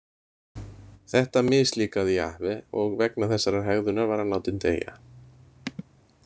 Þetta mislíkaði Jahve og vegna þessarar hegðunar var hann látinn deyja.